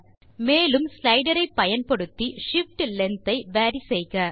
மேலும் ஸ்லைடர் ஐ பயன்படுத்தி shift லெங்த் ஐ வேரி செய்க